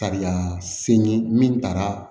Kariya se n ye min taara